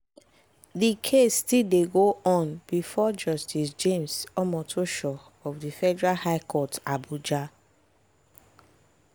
di case still dey go on bifor justice james omotosho of di federal high court abuja.